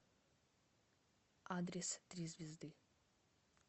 адрес три звезды